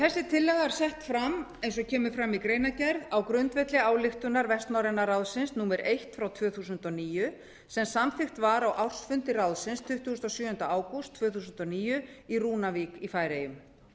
þessi tillaga er sett fram eiga og kemur fram í greinargerð á grundvelli ályktunar vestnorræna ráðsins númer eitt tvö þúsund og níu sem samþykkt var á ársfundi ráðsins tuttugasta og sjöunda ágúst tvö þúsund og níu í rúnavík í færeyjum